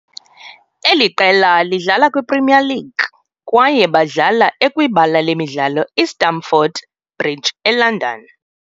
eli qela lidlala kwiPremier League, kwaye badlala ekwibala lemidlalo iStamford Bridge eLondon.